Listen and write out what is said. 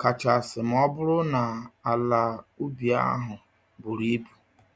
kachasị m'ọbụrụ na um àlà um ubi um ahụ buru ibu.